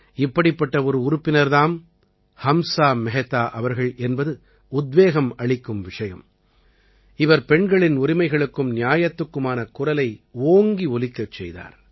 இப்படிப்பட்ட ஒரு உறுப்பினர் தாம் ஹம்ஸா மெஹ்தா அவர்கள் என்பது உத்வேகமளிக்கும் விஷயம் இவர் பெண்களின் உரிமைகளுக்கும் நியாயத்துக்குமான குரலை ஓங்கி ஒலிக்கச் செய்தார்